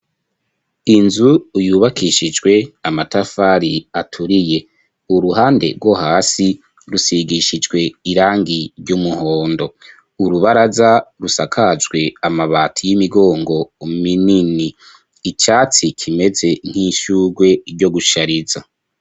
Inzu yubakishijwe amatafari aturiye uruhande rwo hasi rusigishijwe irangi ry'umuhondo, urubaraza rusakajwe amabati y'imigongo minini icatsi kimeze nk'ishugwe ryo gushariza.